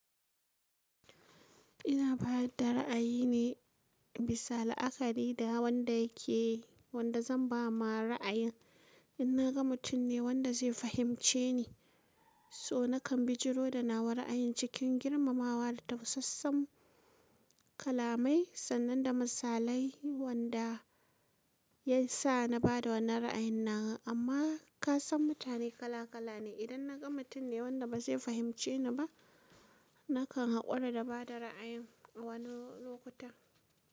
Ina bada ra'ayi ne bisa la'akari da wanda yake wanda zan ba ma ra'ayin. In na ga mutum ne wanda zai fahimce ni, so nakan bijiro da nawa ra'ayin cikin girmamawa da tamsassan kalamai sannan da misalai wanda ya sa na bada wannan ra'ayin nawa. Amma ka san mutane kala kala ne. Idan na ga mutum ne wanda ba zai fahimce ni ba, nakan hakura da bada ra'ayin a wani lokuta.